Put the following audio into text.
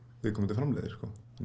viðkomandi framleiðir